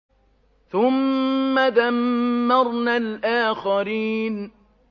ثُمَّ دَمَّرْنَا الْآخَرِينَ